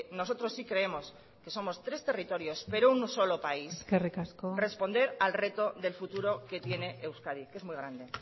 nosotros sí creemos que somos tres territorios pero un solo país eskerrik asko responder al reto del futuro que tiene euskadi que es muy grande